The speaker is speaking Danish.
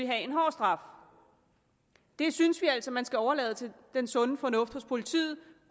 have en hård straf det synes vi altså man skal overlade til den sunde fornuft hos politiet